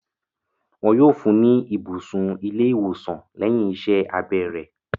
Wọn yóò fún ní ibùsùn ilé-ìwòsàn lẹ́yìn iṣẹ́ abẹ rẹ̀.